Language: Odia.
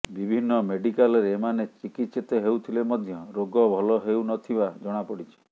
ବିଭିନ୍ନ ମେଡ଼ିକାଲରେ ଏମାନେ ଚିକିତ୍ସିତ ହେଉଥିଲେ ମଧ୍ୟ ରୋଗ ଭଲ ହେଉନଥିବା ଜଣାପଡ଼ିଛି